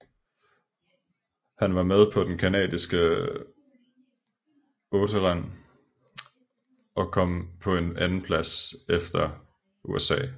Han var med på den canadiske otteren som kom på en andenplads efter USA